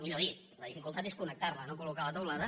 millor dit la dificultat és con·nectar·la no col·locar la teulada